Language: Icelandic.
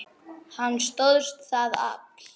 Hann stóðst það afl.